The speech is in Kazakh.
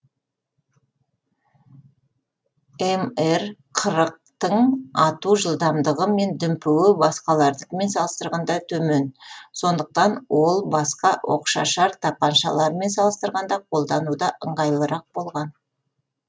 мр қырықтың ату жылдамдығы және дүмпуі басқалардікімен салыстырғанда төмен сондықтан ол басқа оқшашар тапаншалармен салыстырғанда қолдануда ыңғайлырақ болған